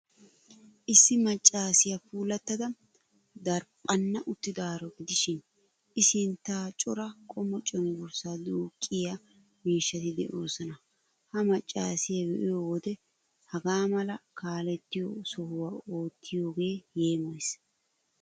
Issi maccaasiyaa puulattida daraphphan uttidaaro gidishin,I sinttan cora qommo cenggurssaa duuqqiyaa miishshati de'oosona. Ha maccaasiyoo be'iyo wode hagaa mala kaalettiyo sohuwa uttiyoogee yeemoyees.